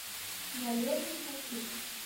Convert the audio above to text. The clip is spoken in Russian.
валерий савчук